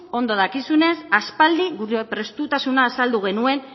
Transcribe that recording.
ondo dakizunez aspaldi gure prestutasuna azaldu genuen